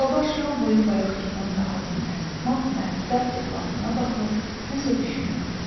Alabaş yol boyu bayaqkından daha dinməz, mat-məəttəl övladına baxır, nəsə düşünürdü.